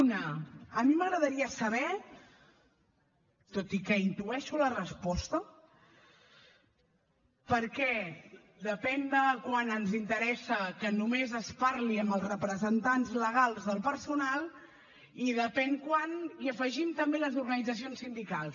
una a mi m’agradaria saber tot i que intueixo la resposta per què depèn quan ens interessa que només es parli amb els representants legals del personal i depèn quan hi afegim també les organitzacions sindicals